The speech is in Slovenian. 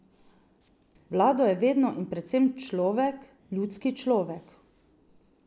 Vlado je vedno in predvsem človek, ljudski človek.